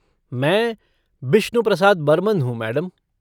मैं, बिश्नू प्रसाद बर्मन हूँ मैडम।